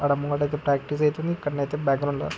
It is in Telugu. ఆడమగ అయితే ప్రాక్టీస్ అవుతుంది.ఇక్కడన అయితే బ్యాక్ గ్రౌండ్ లో--